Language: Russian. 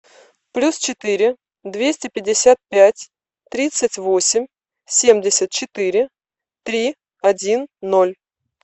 плюс четыре двести пятьдесят пять тридцать восемь семьдесят четыре три один ноль